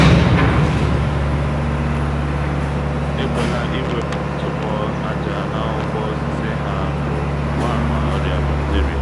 ekwela iwepu ntụpọ aja n’akwụkwọ osisi ha bụ mgbaàmà ọrịa bakteria